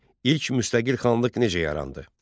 İlk müstəqil xanlıq necə yarandı?